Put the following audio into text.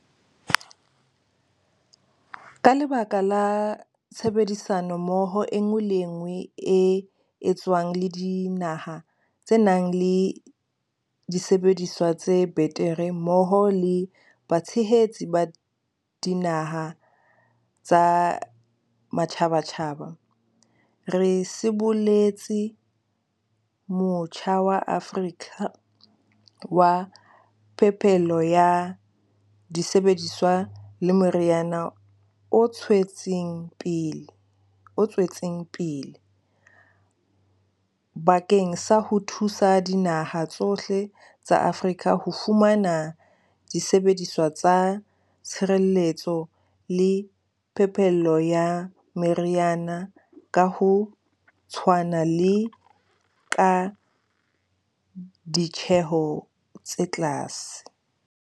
Ka lebaka la tshebedisano mmoho enngwe le enngwe e etswang le dinaha tse nang le disebediswa tse betere mmoho le batshehetsi ba dinaha tsa matjhabatjhaba, re siboletse Motjha wa Afrika wa Phepelo ya Disebediswa le Meriana o tshwetseng pele, o tswetseng. Bakeng sa ho thusa dinaha tsohle tsa Afrika ho fumana disebediswa tsa tshireletso le phepello ya meriana ka ho tshwana le ka ditjeho tse tlase.